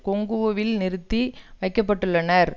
கொங்கோவில் நிறுத்தி வைக்க பட்டுள்ளனர்